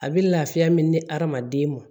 A bɛ lafiya min di hadamaden ma